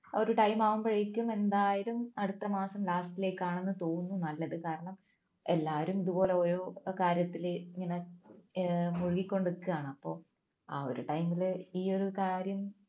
ആ ഒരു time ആകുമ്പോഴേക്കും എന്തായാലും അടുത്തമാസം last ലേക്ക് ആണെന്ന് തോന്നുന്നു നല്ലത് കാരണം എല്ലാരും ഇതുപോലെ ഓരോ കാര്യത്തിലെ ഇങ്ങനെ ഏർ മുഴുകിക്കൊണ്ട് നിക്കാണ് അപ്പോ ഇ ഒരു time ൽ ഈ ഒരു കാര്യം